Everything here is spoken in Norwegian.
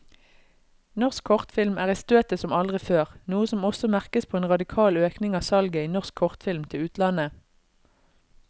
Norsk kortfilm er i støtet som aldri før, noe som også merkes på en radikal økning i salget av norsk kortfilm til utlandet.